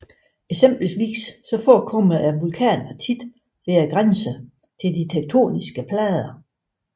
Eksempelvis forekommer vulkaner ofte ved grænserne til de tektoniske plader